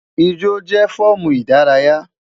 Ijo jẹ fọọmu idaraya